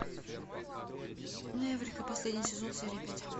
эврика последний сезон серия пять